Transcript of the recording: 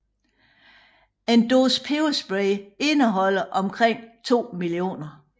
En dåse peberspray indeholder omkring 2 mio